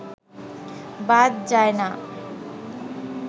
বাদ যায় না